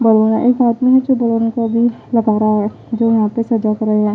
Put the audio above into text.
एक आदमी है जो बलोन को अभी लगा रहा है जो यहाँ पे सजा कर रहे हैं --